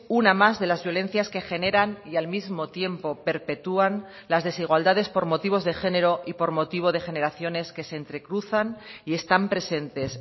una más de las violencias que generan y al mismo tiempo perpetúan las desigualdades por motivos de género y por motivo de generaciones que se entrecruzan y están presentes